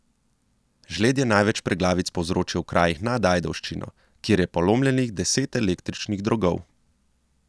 Žled je največ preglavic povzročil v krajih nad Ajdovščino, kjer je polomljenih deset električnih drogov.